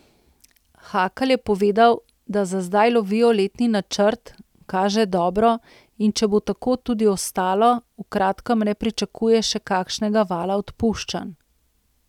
Hakl je povedal, da za zdaj lovijo letni načrt, kaže dobro, in če bo tako tudi ostalo, v kratkem ne pričakuje še kakšnega vala odpuščanj.